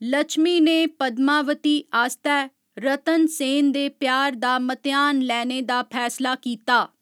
लछमी ने पद्मावती आस्तै रतनसेन दे प्यार दा म्तेहान लैने दा फैसला कीता।